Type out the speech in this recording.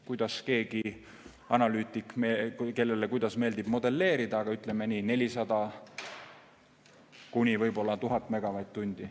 Kuidas kellelegi analüütikule meeldib modelleerida, aga puudu on 400–1000 megavatt-tundi.